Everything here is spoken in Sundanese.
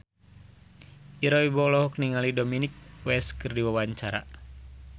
Ira Wibowo olohok ningali Dominic West keur diwawancara